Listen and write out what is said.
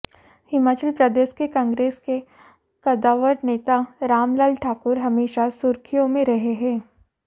हिमाचल प्रदेश के कांग्रेस के कदावर नेता राम लाल ठाकुर हमेशा सुर्खियों में रहे हैं